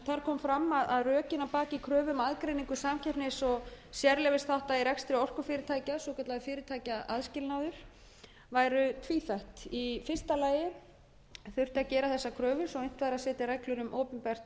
þar kom fram að rökin að baki kröfu um aðgreiningu samkeppnis og sérleyfisþátta í rekstri orkufyrirtækja svokallaður fyrirtækjaaðskilnaður væru tvíþætt í fyrsta lagi þurfti að gera þessa kröfu svo unnt væri að setja reglur um opinbert